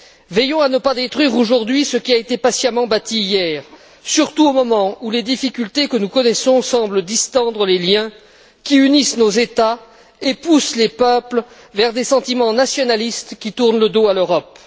Veillons à ne pas détruire, aujourd'hui, ce qui a été patiemment bâti hier, surtout au moment où les difficultés que nous connaissons semblent distendre les liens qui unissent nos États et poussent les peuples à des sentiments nationalistes qui tournent le dos à l'Europe.